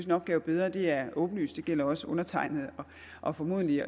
en opgave bedre det er åbenlyst det gælder også undertegnede og formodentlig